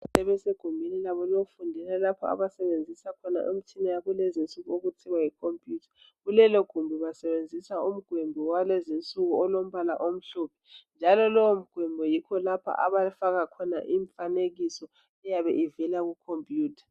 Sebesegumbini labo lokufundela lapho abasebenzisa khona imitshina yakulezi insuku okuthiwa yikhompuyitha kulelogumbi basebenzisa umgwimbi walezinsuku olombala omhlophe njalo lowo mgwimbi yikho lapha abafaka khona imifanekiso eyabe ivela kukhompiyutha.